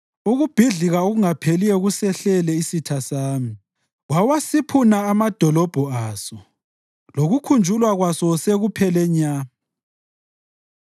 Ukubhidlika okungapheliyo kusehlele isitha sami, wawasiphuna amadolobho aso; lokukhunjulwa kwaso sekuphele nya.